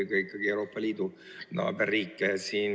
Ma pean silmas eelkõige meie naaberriike Euroopa Liidus.